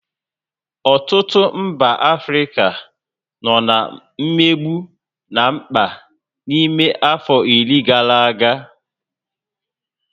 Ọtụtụ mba Africa nọ na mmegbu na mkpa n'ime afọ iri gara aga